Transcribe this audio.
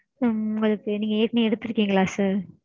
உம் உங்களுக்கு நீங்க ஏற்கெனவே எடுத்துருக்கீங்களா sir?